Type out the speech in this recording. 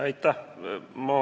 Aitäh!